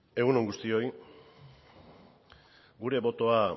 egun on guztioi gure botoa